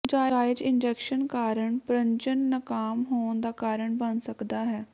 ਨਾਜਾਇਜ਼ ਇਨਜੈਸ਼ਨ ਕਾਰਨ ਪ੍ਰਜਨਨ ਨਾਕਾਮ ਹੋਣ ਦਾ ਕਾਰਨ ਬਣ ਸਕਦਾ ਹੈ